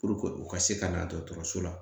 u ka se ka na dɔgɔtɔrɔso la